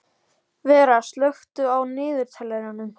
Vera, slökktu á niðurteljaranum.